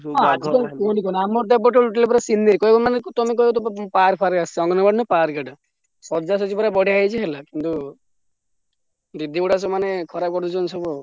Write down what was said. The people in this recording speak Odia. ଆଜିକାଲି ତ କୁହନା ଆମର ତ ଏପଟରେ ପୁରା scenery ସଜାସଜି ପୁରା ବଢିଆ ହେଇଛି ହେଲା କିନ୍ତୁ ଦିଦିଗୁଡ଼ା ମାନେ ଖରାପ ପଡିଛନ୍ତି ସବୁ ଆଉ।